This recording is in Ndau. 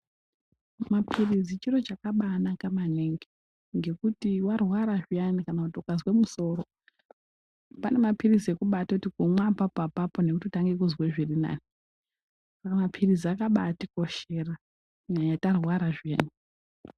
Maphirizi chiro chakabaanaka maningi ngekuti warwara zviyana kana kuti ukazwe musoro pane mapirizi ekubaatoti kumwa apapo -apapo nekutotange kuzwe zvirinani. Mapirizi akabaatikoshera kunyanya tarwara zviyani.